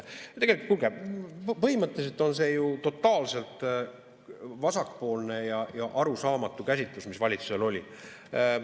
Kuulge, põhimõtteliselt on see ju totaalselt vasakpoolne ja arusaamatu käsitlus, mis valitsusel oli.